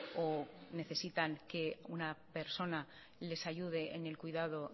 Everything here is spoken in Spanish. o necesitan que una persona les ayude en el cuidado